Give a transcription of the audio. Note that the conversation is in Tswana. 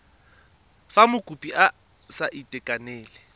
fa mokopi a sa itekanela